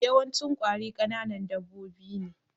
Yawancin ƙwari kananan dabbobi ne